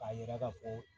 K'a yira k'a fɔ